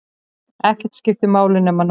Ekkert skipti máli nema núið.